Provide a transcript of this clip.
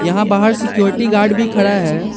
यहाँ बाहर security guard भी खड़ा है।